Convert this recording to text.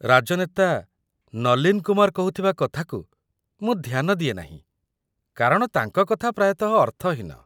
ରାଜନେତା ନଲୀନ କୁମାର କହୁଥିବା କଥାକୁ ମୁଁ ଧ୍ୟାନ ଦିଏନାହିଁ କାରଣ ତାଙ୍କ କଥା ପ୍ରାୟତଃ ଅର୍ଥହୀନ